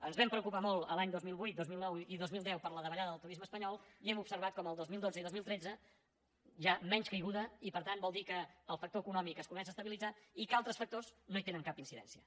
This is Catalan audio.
ens vam preocupar molt els anys dos mil vuit dos mil nou i dos mil deu per la davallada del turisme espanyol i hem observat com el dos mil dotze i dos mil tretze hi ha menys caiguda i per tant vol dir que el factor econòmic es comença a estabilitzar i que altres factors no hi tenen cap incidència